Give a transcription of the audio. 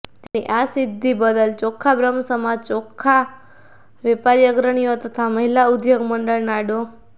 તેમની આ સિઘ્ધી બદલ ઓખા બ્રહ્મસમાજ ઓખા વેપારી અગ્રણીયો તથા મહીલા ઉઘોગ મંડળના ડો